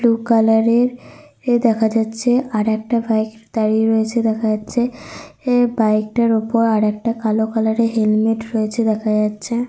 Blue colour -এর দেখা যাচ্ছে আর একটা বাইক দাঁড়িয়ে রয়েছে দেখা যাচ্ছে। এ বাইক -টার উপর কালো কালার -এর হেলমেট রয়েছে দেখা যাচ্ছে।